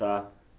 Tá.